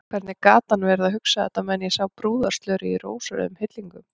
Hvernig gat hann verið að hugsa þetta á meðan ég sá brúðarslörið í rósrauðum hillingum!